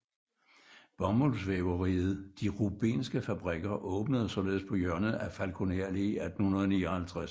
Bomuldsvæveriet De Rubenske Fabrikker åbnede således på hjørnet af Falkoner Allé i 1859